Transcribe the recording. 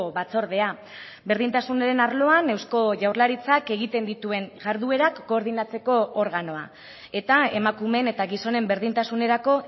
batzordea berdintasunaren arloan eusko jaurlaritzak egiten dituen jarduerak koordinatzeko organoa eta emakumeen eta gizonen berdintasunerako